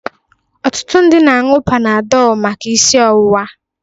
Ọtụtụ ndị mmadụ na-añụ Panadol maka isi ọwụwa.